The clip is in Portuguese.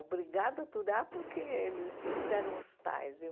Obrigado a aturar, porque ele eles eram os tais e